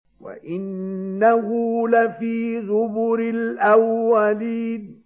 وَإِنَّهُ لَفِي زُبُرِ الْأَوَّلِينَ